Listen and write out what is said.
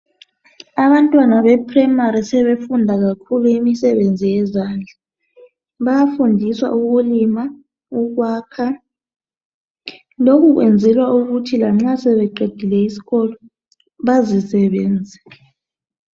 Abantwana bephuremari sebefunda kakhulu imisebenzi yezandla. Bayafundiswa ukulima, ukwakha. Lokhu kwenzelwa ukuthi lanxa sebeqedile isikolo bazisebenze.